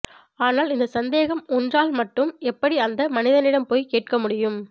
ஆனால் இந்த சந்தேகம் ஒன்றால் மட்டும் எப்படி அந்த மனிதனிடம் போய் கேட்க முடியும்